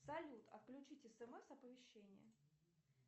салют отключить смс оповещения